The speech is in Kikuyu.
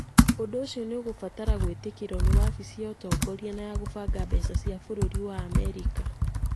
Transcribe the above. Ũndũ ũcio nĩ ũgũbatare gwĩtĩkĩrũo nĩ wabici ya ũtongoria na ya kũbanga mbeca cia bũrũri wa Amerika.